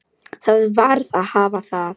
Það varð að hafa það.